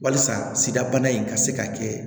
Walasa sidabana in ka se ka kɛ